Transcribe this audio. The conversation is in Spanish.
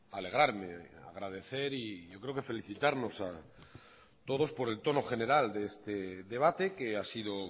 alegrarme agradecer y yo creo que felicitarnos a todos por el tono general de este debate que ha sido